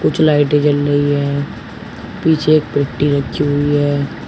कुछ लाइटे जल रही है पीछे एक पेट्टी रखी हुई है।